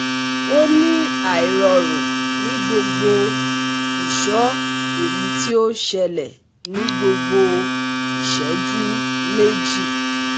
O ni airorun ni gbogbo iso eyi ti o sele ni gbogbo iseju meji